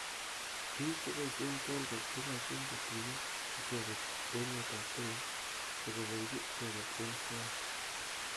Bik cheboishe kolket kokoshin kotuyo icheket emet ab kenya koboiboji icheket eng soet.